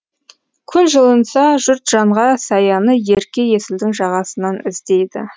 күн жылынса жұрт жанға саяны ерке есілдің жағасынан іздейді